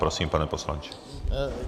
Prosím, pane poslanče.